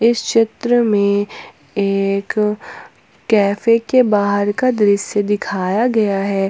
इस चित्र में एक कैफे के बाहर का दृश्य दिखाया गया है।